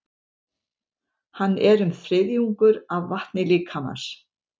Hann er um þriðjungur af vatni líkamans.